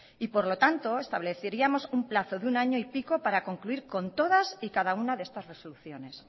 por lo tanto estableceríamos un plazo de un año y pico para concluir con todas y cada una de estas resoluciones